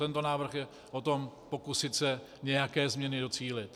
Tento návrh je o tom pokusit se nějaké změny docílit.